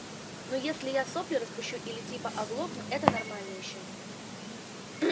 ну если я сопли распущу или типа оглохну это нормально ещё